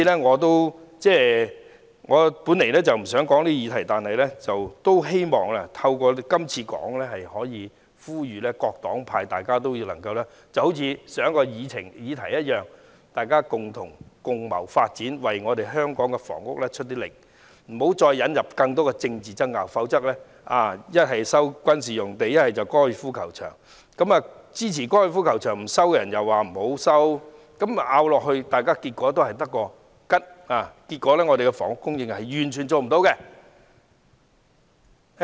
我本來不想就此議題發言，但希望透過今次的發言，呼籲各黨派好像上一項議題般，共謀發展，為香港的房屋努力，不要再引入更多政治爭拗，其一是收回軍事用地，還有收回高爾夫球場，有些人又不支持收回高爾夫球場，爭拗下去的結果只會是一場空，最後完全做不到房屋供應。